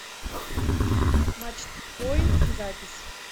матчпоинт запись